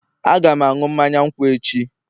Aga m aṅụ mmanya nkwụ echi